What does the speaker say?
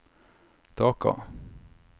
Dhaka